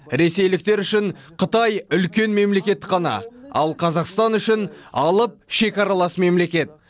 ресейліктер үшін қытай үлкен мемлекет қана ал қазақстан үшін алып шекаралас мемлекет